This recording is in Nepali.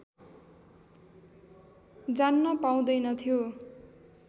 जान्न पाउँदैनथ्यो